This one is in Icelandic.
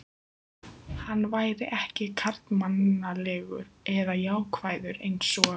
Hann væri ekki karlmannlegur eða jákvæður einsog